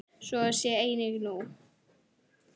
Svo sé einnig nú.